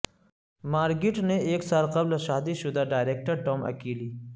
Margot نے ایک سال قبل شادی شدہ ڈائریکٹر ٹام اکیلی